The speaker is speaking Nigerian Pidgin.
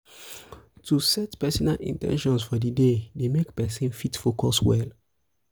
to set personal in ten tions for di day dey make persin fit focus well